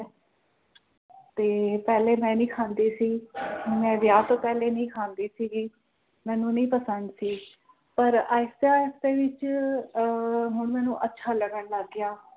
ਤੇ ਪਹਿਲੇ ਮੈਂ ਨੀ ਖਾਂਦੀ ਸੀ ਮੈਂ ਵਿਆਹ ਤੋਂ ਪਹਿਲੇ ਨਹੀਂ ਖਾਂਦੀ ਸੀਗੀ ਮੈਨੂੰ ਨਹੀਂ ਪਸੰਦ ਸੀ ਪਰ ਆਇਸਤੇ ਆਇਸਤੇ ਵਿਚ ਹੁਣ ਅਹ ਮੈਨੂੰ ਅੱਛਾ ਲੱਗਣ ਲੱਗ ਗਿਆ